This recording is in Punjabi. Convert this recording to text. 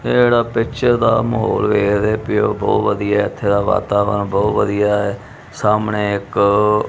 ਇਹ ਜਿਹੜਾ ਪਿਕਚਰ ਦਾ ਮਾਹੌਲ ਵੇਖਦੇ ਪਏ ਹੋ ਬਹੁਤ ਵਧੀਆ ਹੈ ਇੱਥੇ ਦਾ ਵਾਤਾਵਰਣ ਬਹੁਤ ਵਧੀਆ ਹੈ ਸਾਹਮਣੇ ਇੱਕ--